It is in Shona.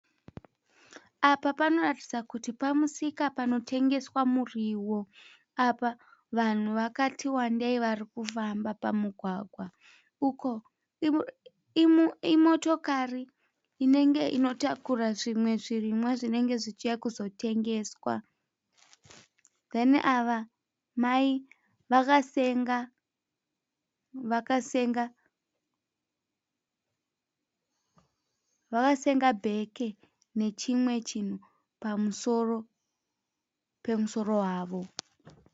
Apa panoratidza kuti pamusika panotengeswa muriwo. Apa vanhu vakati wandei varikufamba pamugwagwa. Uko imotokari inenge inotakura zvimwe zvirimwa zvinenge zvichiuya kuzotengeswa huye ava mai vakasenga bheke nechimwe chinhu pamusoro pemusoro wavo.